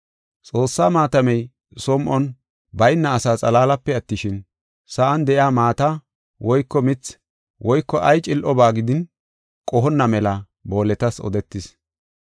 Xoossaa maatamey som7on bayna asaa xalaalape attishin, sa7an de7iya maata woyko mithi woyko ay cil7oba gidin qohonna mela booletas odetis.